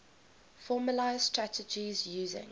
formalised strategies using